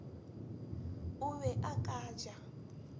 o be a ka ja